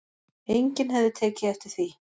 Enginn hefði tekið eftir því